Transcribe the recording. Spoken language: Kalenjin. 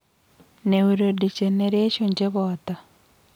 Neurodegeneration chepoto